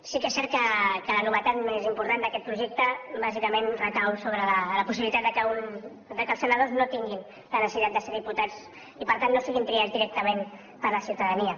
sí que és cert que la novetat més important d’aquest projecte bàsicament recau sobre la possibilitat que els senadors no tinguin la necessitat de ser diputats i per tant no siguin triats directament per la ciutadania